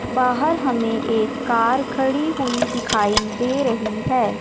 बाहर हमें एक कार खड़ी हुई दिखाई दे रही है।